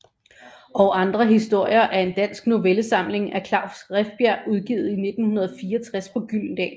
Og andre historier er en dansk novellesamling af Klaus Rifbjerg udgivet i 1964 på Gyldendal